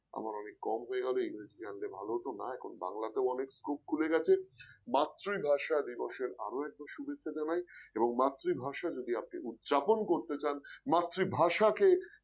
আমার অনেক কম হয়ে গেল। ইংরেজি জানলে ভালো হতো না এখন বাংলা তেও এখন অনেক scope খুলে গেছে, মাতৃভাষা দিবসে আরো একবার শুভেচ্ছা জানাই এবং মাতৃভাষার যদি আপনি উদযাপন করতে চান মাতৃভাষাকে